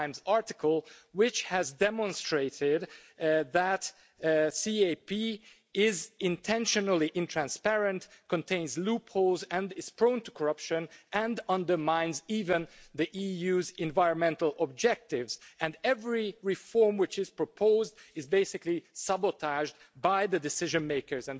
article which has demonstrated that the CAP is intentionally untransparent, contains loopholes and is prone to corruption, and undermines even the EU's environmental objectives, and every reform which is proposed is basically sabotaged by the decision-makers.